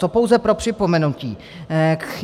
To pouze pro připomenutí.